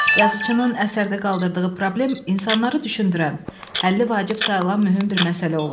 Yazıçının əsərdə qaldırdığı problem insanları düşündürən, həlli vacib sayılan mühüm bir məsələ olur.